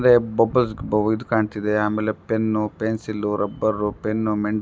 ಅಂದ್ರೆ bubbles bubbles ಕಾಣುತ್ತಿದೆ ಆಮೇಲೆ ಪೆನ್ನು ಪೆನ್ಸಿಲ್ ರಬ್ಬರ್ ಪೆನ್ನು ಮೆಂಡ್ --